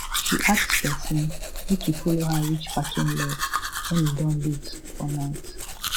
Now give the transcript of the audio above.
she ask person make e follow her reach parking lot when e don late for night